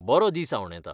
बरो दीस आंवडेतां!